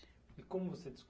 E como você